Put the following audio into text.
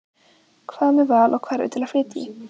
Hvað með val á hverfi til að flytja í?